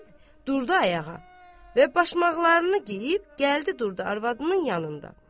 Deyib durdu ayağa və başmaqlarını geyib gəldi durdu arvadının yanında.